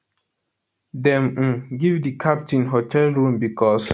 dem um give di captain hotel room becos